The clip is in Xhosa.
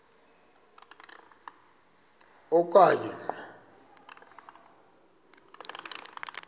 a okanye ngo